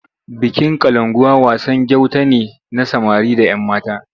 Bikin Kalankuwa wasan gauta ne na samari da ‘yammata.